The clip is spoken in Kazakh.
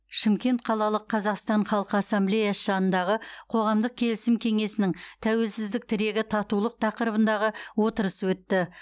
шымкент қалалық қазақстан халқы ассамблеясы жанындағы қоғамдық келісім кеңесінің тәуелсіздік тірегі татулық тақырыбындағы отырыс өтті